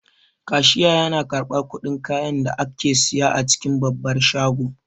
Kashiya yana karɓan kuɗin kayan da ake siya a cikin babbar shago